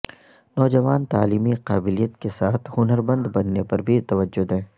نوجوان تعلیمی قابلیت کے ساتھ ہنرمند بننے پر بھی توجہ دیں